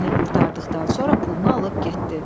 İşini qurtardıqdan sonra pulunu alıb getdi.